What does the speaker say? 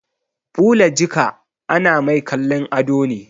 Ɓula jika ana mai kallon ado ne